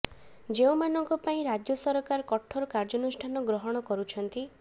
ଯେଉଁମାନଙ୍କ ପାଇଁ ରାଜ୍ୟ ସରକାର କଠୋର କାର୍ଯ୍ୟାନୁଷ୍ଠାନ ଗ୍ରହଣ କରୁଛନ୍ତି